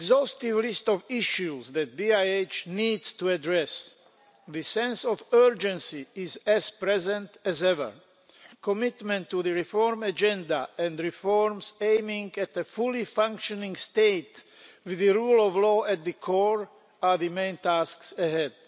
is an exhaustive list of issues that BiH needs to address. The sense of urgency is as present as ever. Commitment to the reform agenda, and reforms aimed at achieving a fully functioning state with the rule of law at its core, are the main tasks ahead.